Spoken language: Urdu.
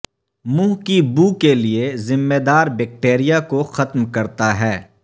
منہ کی بو کے لئے ذمہ دار بیکٹیریا کو ختم کرتا ہے